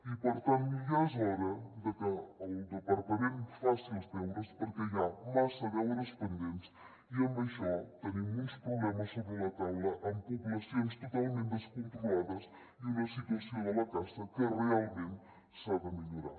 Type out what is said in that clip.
i per tant ja és hora de que el departament faci els deures perquè hi ha massa deures pendents i amb això tenim uns problemes sobre la taula amb poblacions totalment descontrolades i una situació de la caça que realment s’ha de millorar